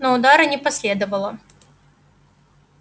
но удара не последовало